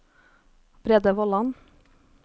Brede Vollan